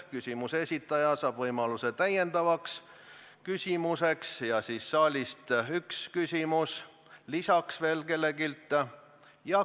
Küsimuse esitaja saab võimaluse täiendavaks küsimuseks ja siis võib saalist tulla üks küsimus lisaks veel kelleltki.